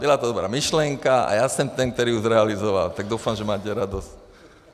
Byla to dobrá myšlenka a já jsem ten, který ju zrealizoval, tak doufám, že mátě radost.